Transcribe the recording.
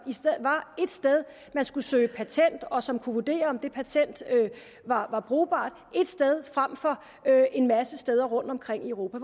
var ét sted man skulle søge patent og som kunne vurdere om det patent var brugbart et sted frem for en masse steder rundtomkring i europa